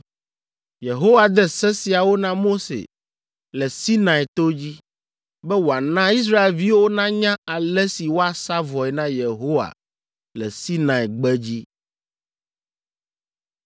Yehowa de se siawo na Mose le Sinai to dzi, be wòana Israelviwo nanya ale si woasa vɔe na Yehowa le Sinai gbedzi.